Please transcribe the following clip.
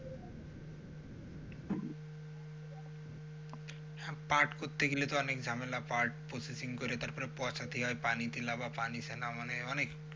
পাট করতে গেলে তো অনেক ঝামেলা পাট processing করে তারপরে পচাতে হয় পানি তে পানি মানে অনেক,